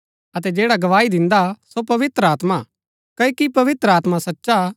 अतै जैडा गवाई दिन्दा सो पवित्र आत्मा हा क्ओकि पवित्र आत्मा सचा हा